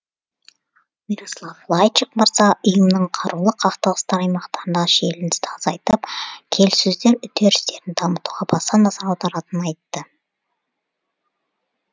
мирослав лайчак мырза ұйымның қарулы қақтығыстар аймақтарындағы шиеленісті азайтып келіссөздер үдерістерін дамытуға баса назар аударатынын айтты